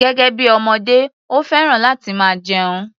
Gẹ́gẹ́ bí ọmọdé, ó fẹ́ràn láti máa jẹun.